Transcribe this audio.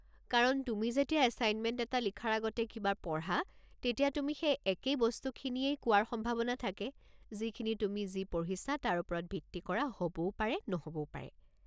কাৰণ তুমি যেতিয়া এছাইনমেণ্ট এটা লিখাৰ আগতে কিবা পঢ়া, তেতিয়া তুমি সেই একেই বস্তুখিনিয়েই কোৱাৰ সম্ভাৱনা থাকে, যিখিনি তুমি যি পঢ়িছা তাৰ ওপৰত ভিত্তি কৰা হ'বও পাৰে নহ'বও পাৰে।